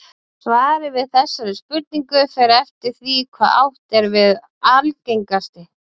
Svarið við þessari spurningu fer eftir því hvað átt er við með algengasti.